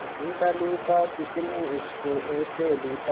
लूटा लूटा किसने उसको ऐसे लूटा